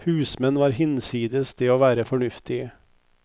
Husmenn var hinsides det å være fornuftige.